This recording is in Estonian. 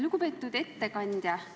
Lugupeetud ettekandja!